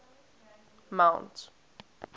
mount